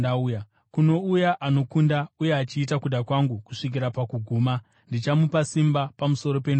Kuno uya anokunda uye achiita kuda kwangu kusvikira pakuguma, ndichamupa simba pamusoro pendudzi: